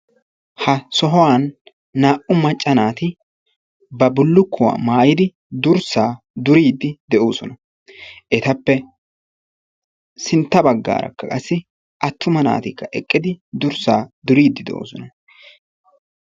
Ha sohuwan naa"u macca naati ba bullukkuwa maayidi durssaa duriiddi de'oosona. Etappe sintta baggaarakka qassi attuma naatikka eqqidi durssaa duriiddi de'oosona.